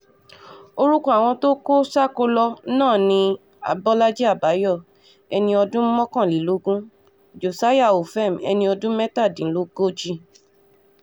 orúkọ àwọn tó kó sákóló náà ni abọ́lájì àbáyò ẹni ọdún mọ́kànlélógún josiah ofem ẹni ọdún mẹ́tàdínlógójì